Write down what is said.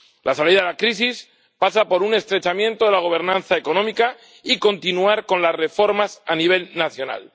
La salida de la crisis pasa por un estrechamiento de la gobernanza económica y por continuar con las reformas a nivel nacional.